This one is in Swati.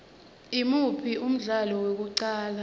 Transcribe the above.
imuphi umdlalo wokuqala